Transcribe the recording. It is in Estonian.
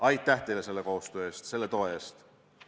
Aitäh selle koostöö eest, selle toe eest!